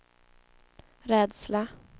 rädsla